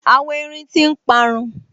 Àwọn erin tí n parun